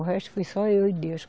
O resto foi só eu e Deus.